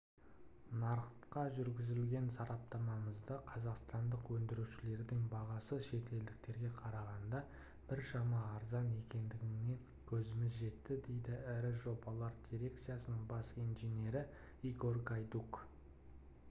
нарыққа жүргізген сараптамамызда қазақстандық өндірушілердің бағасы шетелдіктерге қарағанда біршама арзан екендігіне көзіміз жетті дейді ірі жобалар дирекциясының бас инженері игорь гайдук